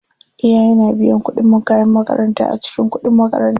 Iyaye na biyan kuɗin kayan makaranta a cikin kuɗib makaranta.